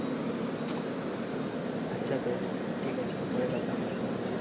আচ্ছা বেশ ঠিক আছে পরে কথা হবে